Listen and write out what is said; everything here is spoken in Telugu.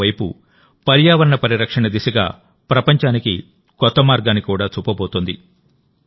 మరోవైపు పర్యావరణ పరిరక్షణ దిశగా ప్రపంచానికి కొత్త మార్గాన్ని కూడా చూపబోతోంది